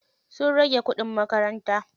Sun rage kuɗin makaranta.